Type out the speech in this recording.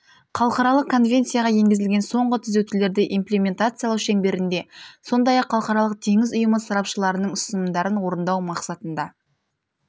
халықаралық конвенцияға енгізілген соңғы түзетулерді имплементациялау шеңберінде сондай-ақ халықаралық теңіз ұйымы сарапшыларының ұсынымдарын орындау мақсатында